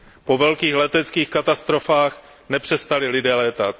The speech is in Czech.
Po velkých leteckých katastrofách nepřestali lidé létat.